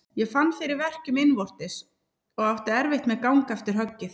Ég fann fyrir verkjum innvortis og átti erfitt með gang eftir höggið.